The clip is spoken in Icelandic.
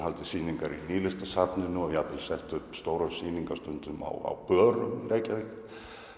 sýningar á Nýlistasafninu og jafnvel sett upp stórar sýningar stundum á börum Reykjavíkur